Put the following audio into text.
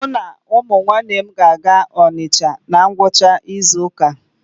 Mụ na ụmụnne m ga-aga Ọnịcha na ngwụcha izu ụka a.